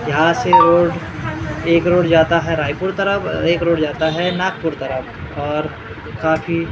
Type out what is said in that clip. यहाँ से वो एक रोड जाता है रायपुर तरफ अ एक रोड जाता है नागपुर तरफ और काफी --